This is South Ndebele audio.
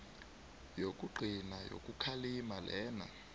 yokugcina yokukhalima lena